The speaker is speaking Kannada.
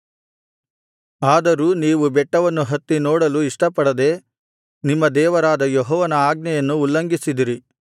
ಆದರೂ ನೀವು ಬೆಟ್ಟವನ್ನು ಹತ್ತಿ ನೋಡಲು ಇಷ್ಟಪಡದೆ ನಿಮ್ಮ ದೇವರಾದ ಯೆಹೋವನ ಆಜ್ಞೆಯನ್ನು ಉಲ್ಲಂಘಿಸಿದಿರಿ